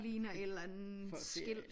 Ligner et eller andet skilt